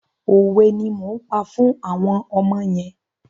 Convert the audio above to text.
Òwe ni mò ń pa fún àwọn ọmọ yẹn.